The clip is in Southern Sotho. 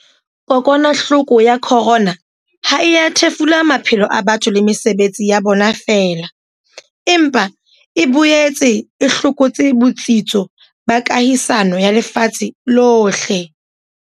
Haeba motswadi kapa mohlokomedi a sa tsebe ho laola boitshwaro ba ngwana wa hae kapa ditlhoko tsa hae tse ikgethileng, a ka letsetsa